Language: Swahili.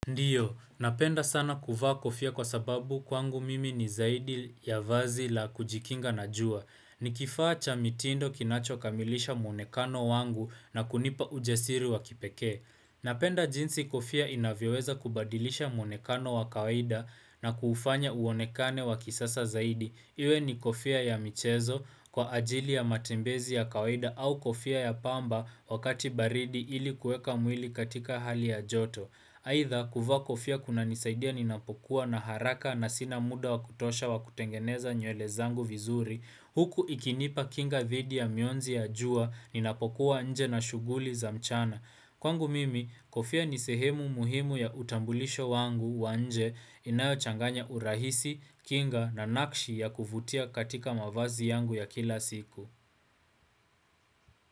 Ndiyo, napenda sana kuvaa kofia kwa sababu kwangu mimi ni zaidi ya vazi la kujikinga na jua. Nikifaa cha mitindo kinacho kamilisha mwonekano wangu na kunipa ujasiri wa kipeke. Napenda jinsi kofia inavyoweza kubadilisha mwonekano wa kawaida na kufanya uonekane wa kisasa zaidi. Iwe ni kofia ya michezo kwa ajili ya matembezi ya kawaida au kofia ya pamba wakati baridi ili kueka mwili katika hali ya joto. Aidha, kuvaa kofia kuna nisaidia ninapokuwa na haraka na sina muda wakutosha wakutengeneza nyele zangu vizuri, huku ikinipa kinga dhidi ya mionzi ya jua ninapokuwa nje na shughuli za mchana. Kwangu mimi, kofia nisehemu muhimu ya utambulisho wangu wa nje inayochanganya urahisi, kinga na nakshi ya kuvutia katika mavazi yangu ya kila siku.